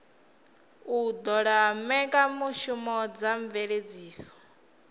u ṱola mbekanyamushumo dza mveledziso